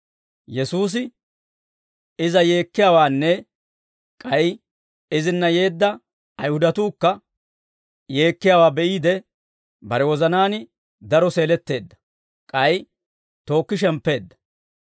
Yesuusi iza yeekkiyaawaanne k'ay izinna yeedda Ayihudatuukka yeekkiyaawaa be'iide, bare wozanaan daro seeletteedda; k'ay tookki shemppeedda.